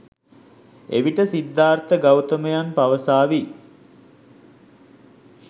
එවිට සිද්ධාර්ථ ගෞතමයන් පවසාවි.